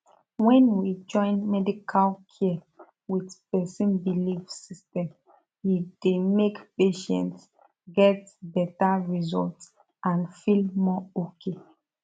when we join medical care with person belief system e dey make patients get better result and feel more okay